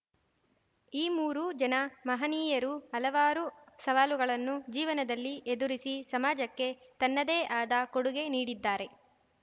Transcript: ಈ ಮೂರು ಜನ ಮಹಾನೀಯರು ಹಲವಾರು ಸವಾಲುಗಳನ್ನು ಜೀವನದಲ್ಲಿ ಎದುರಿಸಿ ಸಮಾಜಕ್ಕೆ ತನ್ನದೇ ಆದ ಕೊಡುಗೆ ನೀಡಿದ್ದಾರೆ